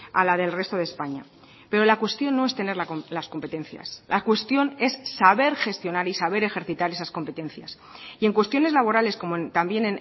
a la del resto de españa pero la cuestión no es tener las competencias la cuestión es saber gestionar y saber ejercitar esas competencias y en cuestiones laborales como también